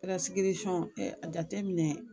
a jateminɛ.